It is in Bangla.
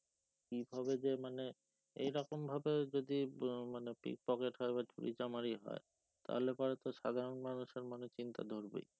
কিভাবে যে মানে এরকম ভাবে যদি উম মানে pickpocket হয় বা চুরিচামারি হয় তাহলে পরে তো সাধারণ মানুষের মনে চিন্তা ঢুকবেই